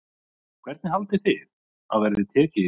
Hvernig haldið þið að verði tekið í það?